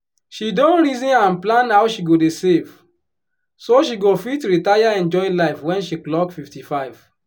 she don reason and plan how she go dey save so she go fit retire enjoy life wen she clock 55.